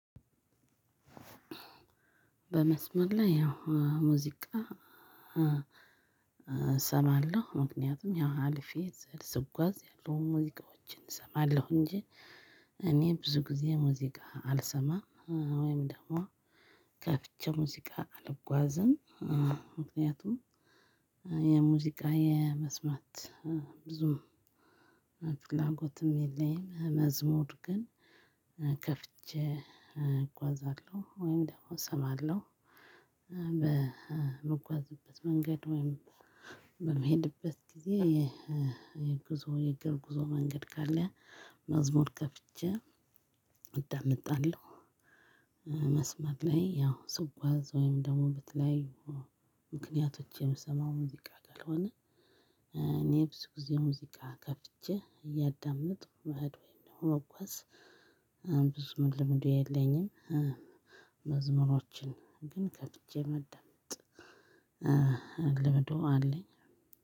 በመስመር ላይ ያው ሙዚቃ። እሰማለሁ ምክንያቱም ያው አልፌ ስጓዝ ያለውን ሙዚቃዎችን እሰማለሁ እንጂ እኔ ብዙ ጊዜ ሙዚቃ አልሰማም ወይም ደግሞ ከፍቼ ሙዚቃ አልጓዝም። ምክንያቱም የሙዚቃ የመስማት ብዙም ፍላጎትም የለኝም። መዝሙር ግን ከፍቼ እጓዛለሁ ወይም ደግሞ እሰማለሁ በምጓዝበት መንገድ ወይም በመሄድበት ጊዜ የጉዞ የእግር ጉዞ መንገድ ካለ መዝሙር ከፍቼ አዳምጣለሁ። መስመር ላይ ያው ስጓዝ ወይም ደግሞ ብትለይ ምክንያቶች የምሰማው ሙዚቃ ካልሆነ እኔ ብዙ ጊዜ ሙዚቃ ከፍቼ እያዳመጥኩ መሄድ ወይም ደግሞ መጓዝ ብዙም ልምዱ የለኝም። መዝሙሮችን ግን ከፍቼ ማዳመጥ ልምዱ አለኝ።